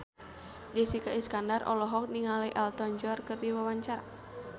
Jessica Iskandar olohok ningali Elton John keur diwawancara